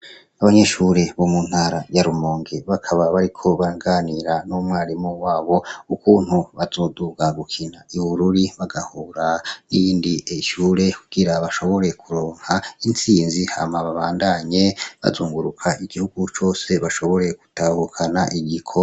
Abanyeshure bo mu ntara ya Rumonge, bakaba bariko baraganira n'umwarimu wabo ukuntu bazoduga gukina i Bururi bagahura n'iyindi shure kugira bashobore kuronka intsinzi hama babandanye bazunguruka igihugu cose bashobore gutahukana igikombe.